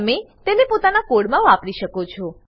તમે તેને પોતાના કોડ માં વાપરી શકો છો